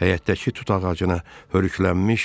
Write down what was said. həyətdəki tut ağacını, hörüklənmiş